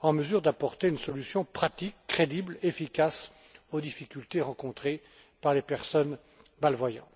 en mesure d'apporter une solution pratique, crédible, efficace, aux difficultés rencontrées par les personnes malvoyantes?